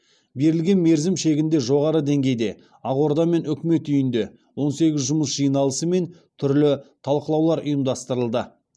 берілген мерзім шегінде жоғары деңгейде ақорда мен үкімет үйінде он сегіз жұмыс жиналысы мен түрлі талқылаулар ұйымдастырылды